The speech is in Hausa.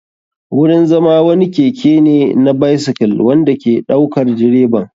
Wurin zama wani keke ne na bycyle wanda ke ɗaukar direban.